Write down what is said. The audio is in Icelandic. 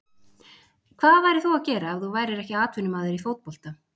Hvað værir þú að gera ef þú værir ekki atvinnumaður í fótbolta?